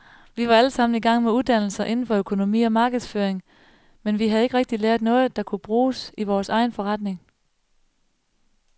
Vi var allesammen igang med uddannelser inden for økonomi og markedsføring, men vi havde ikke rigtig lært noget, der kunne bruges i vores egen forretning.